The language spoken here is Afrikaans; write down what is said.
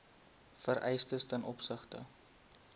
vereistes ten opsigte